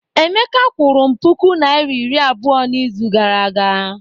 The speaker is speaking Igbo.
Emeka kwụrụ m puku naira iri abụọ n'izu gara aga.